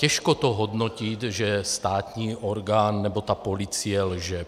Těžko to hodnotit, že státní orgán nebo ta policie lže.